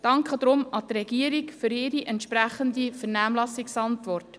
Wir danken deshalb der Regierung für die entsprechende Vernehmlassungsantwort.